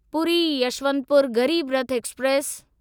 Puri Yeshwantpur Garib Rath express